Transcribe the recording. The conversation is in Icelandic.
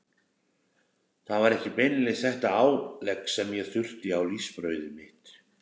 Það var ekki beinlínis þetta álegg sem ég þurfti á lífsbrauðið mitt.